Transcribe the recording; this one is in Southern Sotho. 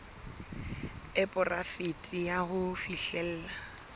e poraefete ya ho fihlella